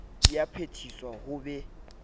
di a phethiswa ho be